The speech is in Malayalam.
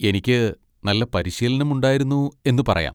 എനിക്ക് നല്ല പരിശീലനം ഉണ്ടായിരുന്നു എന്ന് പറയാം.